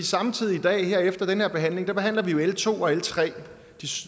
samtidig i dag her efter den her behandling behandler vi l to og l tre